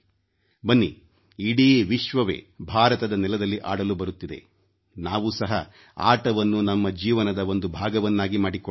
ಬನ್ನಿ ಇಡೀ ವಿಶ್ವವೇ ಭಾರತದ ನೆಲದಲ್ಲಿ ಆಡಲು ಬರುತ್ತಿದೆ ನಾವು ಸಹ ಆಟವನ್ನು ನಮ್ಮ ಜೀವನದ ಒಂದು ಭಾಗವನ್ನಾಗಿ ಮಾಡಿಕೊಳ್ಳೋಣ